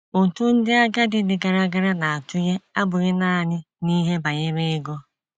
Ụtụ ndị agadi dị gara gara na - atụnye abụghị nanị n’ihe banyere ego.